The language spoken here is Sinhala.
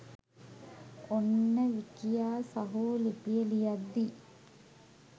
ඔන්න විකියා සහෝ ලිපිය ලියද්දී